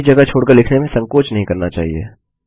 कभी जगह छोड़ कर लिखने में संकोच नहीं करना चाहिए